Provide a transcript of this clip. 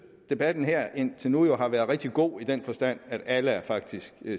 debatten her indtil nu har været rigtig god i den forstand at alle jo faktisk